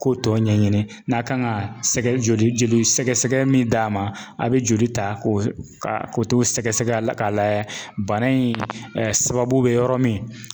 K'o tɔ ɲɛɲini n'a kan ka joli joli sɛgɛsɛgɛ min d'a ma a bɛ joli ta ko sɛgɛ sɛgɛ la k'a layɛ bana in sababu bɛ yɔrɔ min.